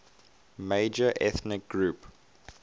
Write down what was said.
major ethnic group